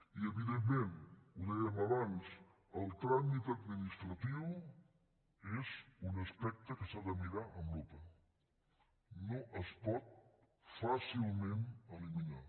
i evidentment ho dèiem abans el tràmit administratiu és un aspecte que s’ha de mirar amb lupa no es pot fàcilment eliminar